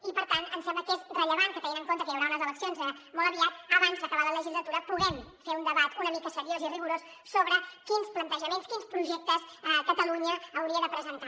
i per tant ens sembla que és rellevant que tenint en compte que hi haurà unes eleccions molt aviat abans d’acabar la legislatura puguem fer un debat una mica seriós i rigorós sobre quins plantejaments quins projectes catalunya hauria de presentar